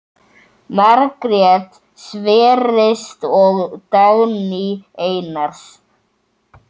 Margrét Sverris og Dagný Einars.